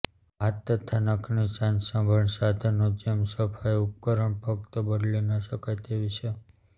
હાથ તથા નખની સાજસંભાળ સાધનો જેમ સફાઈ ઉપકરણ ફક્ત બદલી ન શકાય તેવી છે